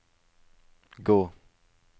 gå